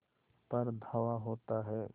पर धावा होता है